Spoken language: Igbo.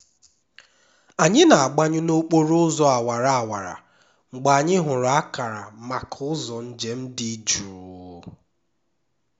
anyị na-agbanyụ n'okporo ụzọ awara awara mgbe anyị hụrụ akara maka ụzọ njem dị jụụ